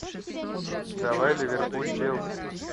давай ливерпуль челси